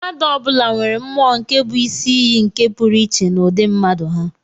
Mmadụ ọ bụla nwere mmụọ nke bụ isi iyi nke pụrụ iche na ụdị mmadụ ha.